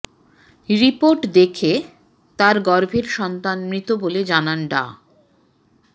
report দেখে তার গর্ভের সন্তান মৃত বলে জানান ডা